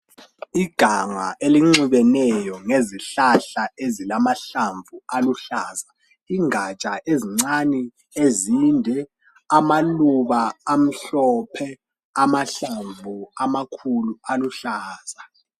Iganga elinxibeneyo ngezihlahla ezilamahlamvu aluhlaza ingatsha ezincane ezinde, amaluba amhlophe, amahlamvu amakhulu aluhlaza.